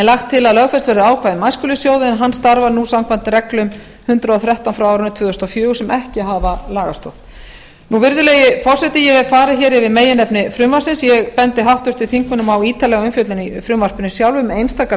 lagt til að lögfest verði ákvæði um æskulýðssjóð en hann starfar nú samkvæmt reglum númer hundrað og þrettán tvö þúsund og fjögur sem ekki hafa lagastoð virðulegi forseti ég hef farið hér yfir meginefni frumvarpsins ég bendi háttvirtum þingmönnum á ítarlega umfjöllun í frumvarpinu sjálfu um einstakar